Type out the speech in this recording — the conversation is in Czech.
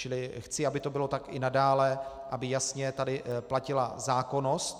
Čili chci, aby to bylo tak i nadále, aby tady jasně platila zákonnost.